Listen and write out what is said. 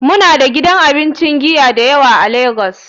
Muna da gidan abincin giya da yawa a cikin lagos.